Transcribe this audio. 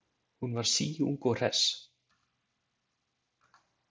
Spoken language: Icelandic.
Hún var síung og hress.